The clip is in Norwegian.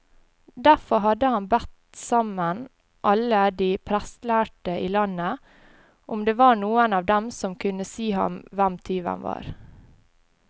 Derfor hadde han bedt sammen alle de prestlærde i landet, om det var noen av dem som kunne si ham hvem tyven var.